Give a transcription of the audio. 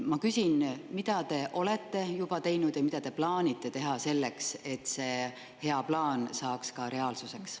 Ma küsin, mida te olete juba teinud ja mida te plaanite teha selleks, et see hea plaan saaks reaalsuseks.